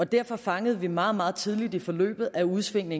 derfor fangede vi meget meget tidligt i forløbet at udsvingene